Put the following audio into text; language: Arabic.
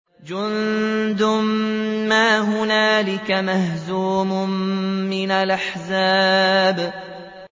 جُندٌ مَّا هُنَالِكَ مَهْزُومٌ مِّنَ الْأَحْزَابِ